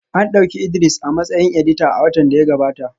An dauki Idris a matsayin edita a watan da ya gabata